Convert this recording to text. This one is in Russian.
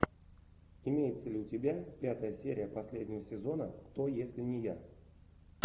имеется ли у тебя пятая серия последнего сезона кто если не я